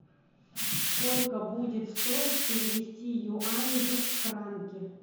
сколько будет стоить перевести юани в франки